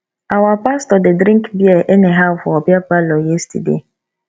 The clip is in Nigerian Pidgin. our pastor dey drink bear anyhow for beer parlor yesterday